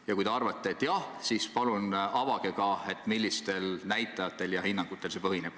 Ja kui te arvate, et jah, siis palun avage ka, millistel näitajatel ja hinnangutel see põhineb.